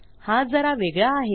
हा जरा वेगळा आहे